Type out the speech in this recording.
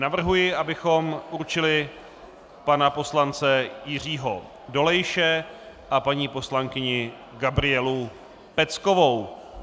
Navrhuji, abychom určili pana poslance Jiřího Dolejše a paní poslankyni Gabrielu Peckovou.